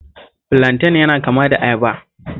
Filanten yana kama da ayaba